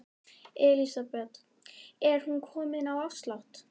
Elísabet: Er hún komin á afslátt?